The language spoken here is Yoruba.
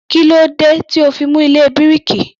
Kílódé tí ò ó fi mú ilé bíríkì?